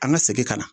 An ka segin ka na